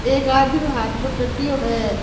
एक आदमी के हाथ मा कट्टियो है।